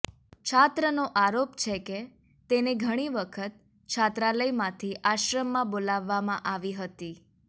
છાત્રનો આરોપ છે કે તેને ઘણી વખત છાત્રાલયમાંથી આશ્રમમાં બોલાવવામાં આવી હતી